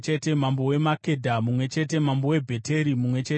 mambo weMakedha mumwe chete mambo weBheteri mumwe chete